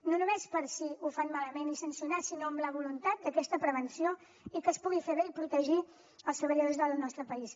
no només per si ho fan malament i sancionar sinó amb la voluntat d’aquesta prevenció i que es pugui fer bé i protegir els treballadors del nostre país